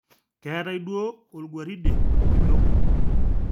Keetai duo olguaride kitok